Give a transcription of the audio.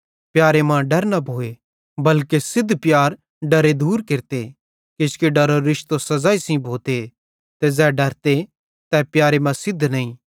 प्यारे मां डर न भोए बल्के सिद्ध प्यार डरे दूर केरते किजोकि डरेरो रिश्तो सज़ाई सेइं भोते ते ज़ै डरते तै प्यार मां सिद्ध नईं